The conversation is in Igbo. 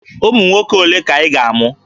Ụmụ nwoke ole ka ị ga-amụ?